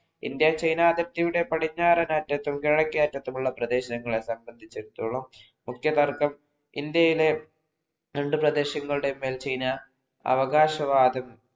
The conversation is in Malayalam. ഇന്ത്യ ചൈന അതിർത്തിയുടെ പടിഞ്ഞാറൻ അറ്റത്തും കിഴക്കേഅറ്റത്തുമുള്ള പ്രദേശങ്ങളെ സംബന്ധിച്ചടുത്തോളം മുഖ്യ തര്‍ക്കം ഇന്ത്യയിലെ രണ്ടു പ്രദേശങ്ങളുടെ മേൽ ചൈന അവകാശവാദം